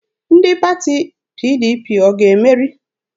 Ndị pati PDP ọ ga-emeri?